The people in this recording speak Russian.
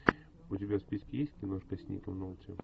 у тебя в списке есть киношка с ником нолти